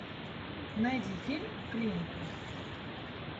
найди фильм клиника